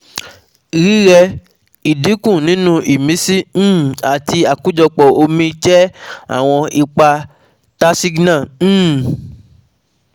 Rírẹ, idinku ninu imisi um àti akojopo omi jẹ́ àwọn ipa Tasigna um